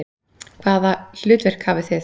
Hvaða hlutverk hafið þið?